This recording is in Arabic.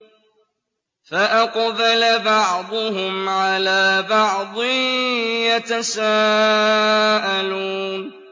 فَأَقْبَلَ بَعْضُهُمْ عَلَىٰ بَعْضٍ يَتَسَاءَلُونَ